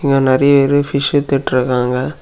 இங்க நறைய வெறும் பிஷ் வித்துட்டு இருக்காங்க.